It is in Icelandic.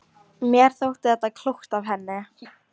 Mér þótti þetta klókt af henni.